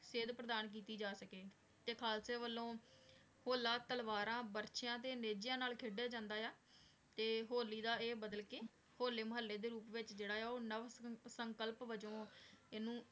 ਸੇਧ ਪਰਧਾਨ ਕੀਤੀ ਜਾ ਸਕੀ ਤੇ ਖਾਲਸੇ ਵਲੋਂ ਹੋਲਾ ਤਲਵਾਰਾਂ ਬਰ੍ਚਿਯਾਂ ਤੇ ਨੇਜ਼ਾਯਾਂ ਨਾਲ ਖੇਡੀਆ ਜਾਂਦਾ ਆਯ ਆ ਤੇ ਹੋਲੀ ਦਾ ਆਯ ਬਦਲ ਕੇ ਹੋਲੇ ਮੁਹਾਲੀ ਦੇ ਰੂਪ ਵਿਚ ਜੇਰਾ ਆਯ ਆ ਊ ਨਾਵ ਸੰਕਲਪ ਵਿਚੋਂ ਏਨੁ